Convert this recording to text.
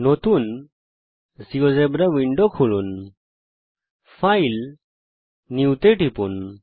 নতুন GeoGebra window খুলুন file জিটিজিটি নিউ টিপুন